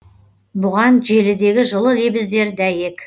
бұған желідегі жылы лебіздер дәйек